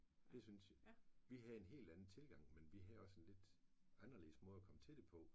Det synes jeg. Vi havde en helt anden tilgang men vi havde også en lidt anderledes måde at komme til det på